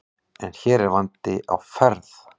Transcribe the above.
En hér er vandi á ferð.